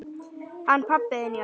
Hann pabbi þinn, já.